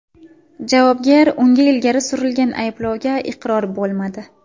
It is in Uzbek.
Javobgar unga ilgari surilgan ayblovga iqror bo‘lmadi.